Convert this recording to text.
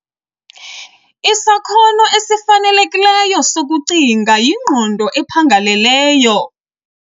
Isakhono esifanelekileyo sokucinga yingqondo ephangeleleyo.